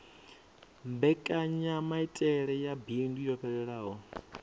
mbekanyamaitele ya bindu yo fhelelaho